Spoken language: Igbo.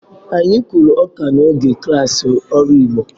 Anyị kụrụ ọka n'oge klassị ọrụ igbo